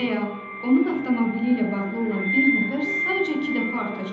Və ya onun avtomobili ilə bağlı olan bir nəfər sayıca iki dəfə artacaq.